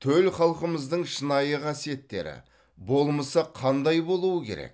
төл халқымыздың шынайы қасиеттері болмысы қандай болуы керек